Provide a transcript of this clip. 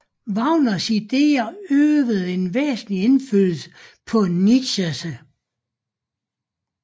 Wagners ideer øvede en væsentlig indflydelse på Nietzsche